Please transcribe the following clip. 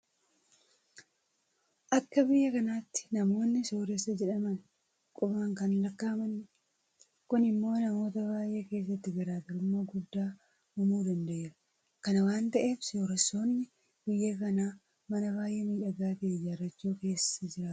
Akka biyya kanaatti namoonni sooressa jedhaman qubaan kan lakkaa'amanidha. Kun immoo namoota baay'ee keessatti garaa garummaa guddaa uumuu danda'eera. Kana waanta ta'eef sooressoonni biyya kanaa mana baay'ee miidhagaa ta'e ijaarrachuudhaan keessa jiraatu.